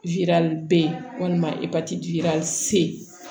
bɔn epatiti